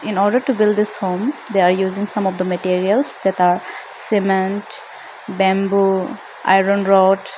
in order to build this home they are using some of the materials that are cement bamboo iron rod.